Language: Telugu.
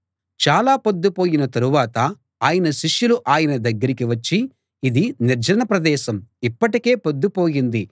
చాలా పొద్దుపోయిన తరువాత ఆయన శిష్యులు ఆయన దగ్గరికి వచ్చి ఇది నిర్జన ప్రదేశం ఇప్పటికే పొద్దుపోయింది